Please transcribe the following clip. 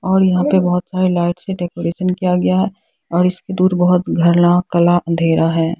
और यहां पे बहुत सारी लाइट से डेकोरेशन किया गया है और इसकी दूर बहुत घरना कला अंधेरा है।